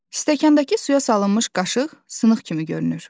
Stəkandakı suya salınmış qaşıq sınıq kimi görünür.